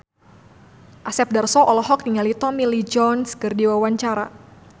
Asep Darso olohok ningali Tommy Lee Jones keur diwawancara